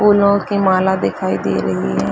फूलो की माला दिखाई दे रही है।